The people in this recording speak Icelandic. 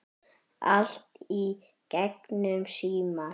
Allt í gegnum síma.